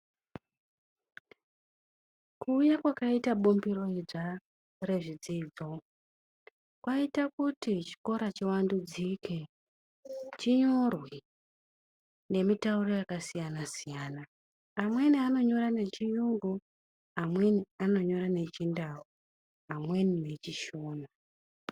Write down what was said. Kuuya kwakaita bumbiro idzva rezvidzidzo kwaita kuti chikora chivandudzike, chinyorwe ngemitauro yakasiyana siyana. Amweni anonyora ngechiyungu, amweni anonyora ngechiNdau amweni ngeChiShona.